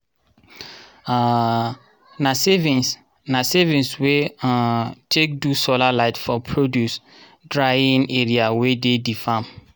um na savings na savings we um take do solar light for produce dryign area wey de di farm.